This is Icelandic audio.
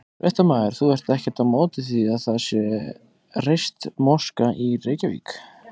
Fréttamaður: Þú ert ekkert á móti því að það sé reist moska í Reykjavík?